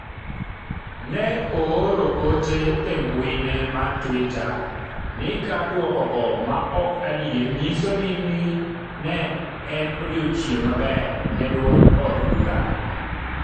ne ooro ote e mbuine mar twitter ni ka dwokogo maok adier nyiso ni ne en odiochieng' maber ne duond od burano